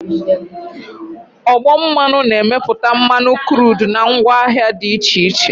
Ọgbọ mmanụ na-emepụta mmanụ kru na ngwaahịa dị iche iche